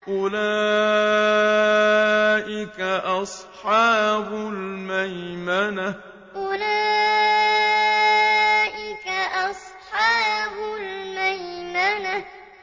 أُولَٰئِكَ أَصْحَابُ الْمَيْمَنَةِ أُولَٰئِكَ أَصْحَابُ الْمَيْمَنَةِ